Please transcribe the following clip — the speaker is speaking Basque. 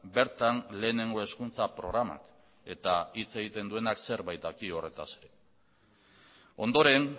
bertan lehenengo hezkuntza programak eta hitz egiten duenak zerbait daki horretaz ere ondoren